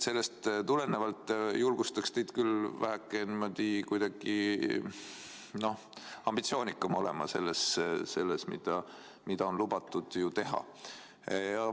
Sellest tulenevalt julgustaksin teid küll väheke ambitsioonikam olema selles, mida on lubatud teha.